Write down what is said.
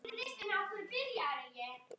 Guðný: Munið þið halda áfram?